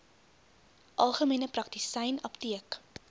algemene praktisyn apteek